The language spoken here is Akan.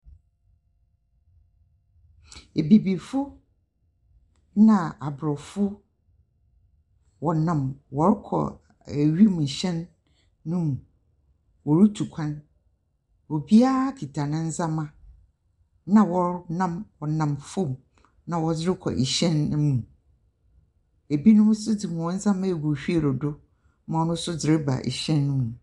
Ebibifo na Aborɔfo, wɔnam wɔrokɔ wimuhɛn no mu, worutu kwan. Obiara kitsa ne ndzɛmba na wɔro nam, wɔnam famu na wɔdze rokɔ hɛn no mu, binom nso dze hɔn ndzɛmba no wɔdze agu wheel do na ɔno so dze reba hɛn no mu.